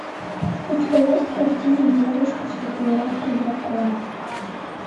у тебя есть картина девушка с татуировкой дракона